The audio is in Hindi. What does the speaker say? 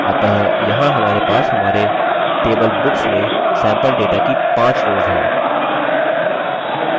अतः यहाँ हमारे पास हमारे table books में सैम्पल data की 5 rows हैं